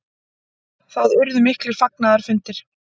Það urðu miklir fagnaðarfundir.